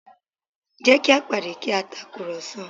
Jẹ́ kí a pàdé kí a tàkùrọ̀sọ